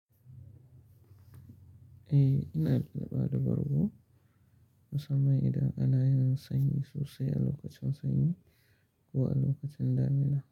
Eh, ina da bada bargo musamman idan ana yin sanyi sosai a lokacin sanyi ko a lokacin damina.